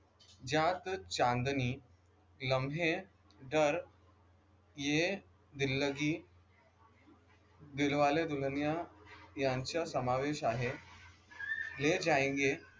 जहाँ तो चाँदनी लम्हे दर ये दिल्लगी दिलवाले दुल्हनिया यांचा समावेश आहे ले जाएंगे